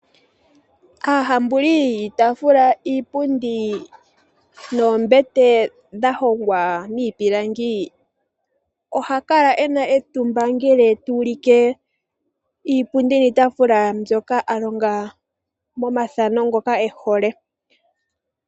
Aahambuli yiitaafula, iipundi noombete dha hongwa miipilangi ohaya kala ye na etumba ngele ta ya ulike iipundi niitaafula mbyoka a longa momathano ngoka e hole.